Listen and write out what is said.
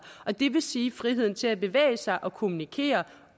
og det vil sige friheden til at bevæge sig og kommunikere